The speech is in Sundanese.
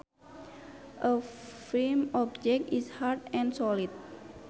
A firm object is hard and solid